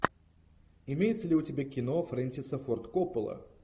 имеется ли у тебя кино фрэнсиса форд коппола